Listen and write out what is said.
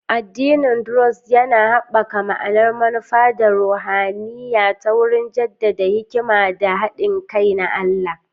Addinin Druzi yana haɓaka ma'anar manufa ta ruhaniya ta wurin jaddada hikima da haɗin kai na Allah.